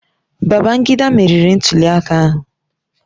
Babangida meriri ntuliaka ahụ